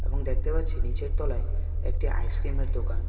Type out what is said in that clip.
এবং দেখতে পাচ্ছি নীচের তলায় একটি আইসক্রিমের দোকান।